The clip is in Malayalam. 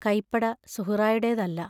കൈപ്പട സുഹ്റായുടേതല്ല.